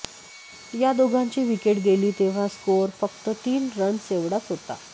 या दोघांची विकेट गेली तेव्हा स्कोअर फक्त तीन रन्स एवढाच होता